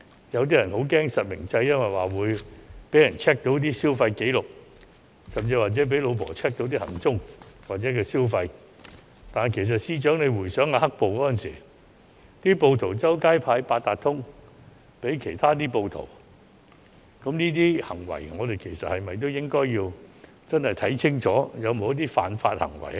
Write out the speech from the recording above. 有些人害怕實名制，因為會被人 check 到消費紀錄，甚至被妻子 check 到行蹤或消費，但司長回想"黑暴"時暴徒隨街分派八達通給其他暴徒，我們是否應該檢視這些行為是否違法。